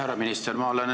Härra minister!